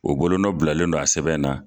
U bolo nɔ bilalen don a sɛbɛn na